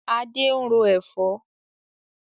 Adé ń ro Ẹ̀fọ́